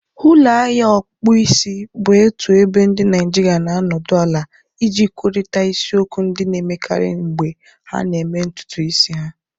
ulo ahia ọkpụkpụ isi bụ otu ebe ndị Naịjirịa na-anọdụ ala iji kwurịta isiokwu ndị na-emekarị mgbe ha na-eme ntutu isi ha